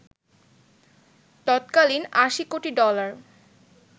তত্কালীন ৮০ কোটি ডলার